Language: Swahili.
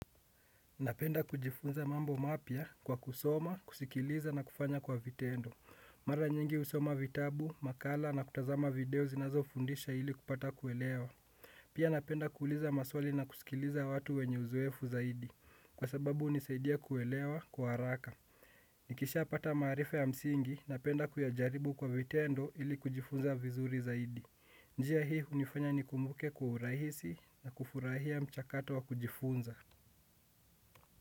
Napenda kujifunza mambo mapya kwa kusoma, kusikiliza na kufanya kwa vitendo. Mara nyingi husoma vitabu, makala na kutazama video zinazo fundisha ili kupata kuelewa. Pia napenda kuuliza maswali na kusikiliza watu wenye uzoefu zaidi. Kwa sababu hunisaidia kuelewa kwa haraka. Nikisha pata maarifa ya msingi, napenda kuyajaribu kwa vitendo ili kujifunza vizuri zaidi. Njia hii hunifanya nikumbuke kwa urahisi na kufurahia mchakato wa kujifunza.